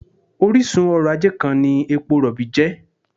Orísun ọrọ̀-ajé kan ni epo rọ̀bì jẹ́